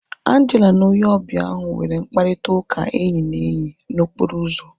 Angela na onye ọbịa ahu nwere mkparịta ụka enyi na enyi na okporo ụzọ